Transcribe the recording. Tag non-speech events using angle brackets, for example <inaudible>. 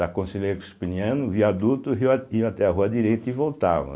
Da Conselheiro Crispiniano, viaduto, <unintelligible> iam até a Rua Direita e voltavam.